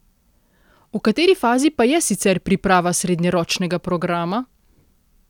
V kateri fazi pa je sicer priprava srednjeročnega programa?